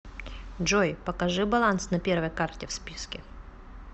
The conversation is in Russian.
джой покажи баланс на первой карте в списке